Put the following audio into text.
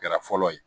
Kɛra fɔlɔ ye